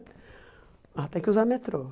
Lá tem que usar metrô.